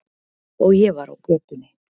Og ég var á götunni.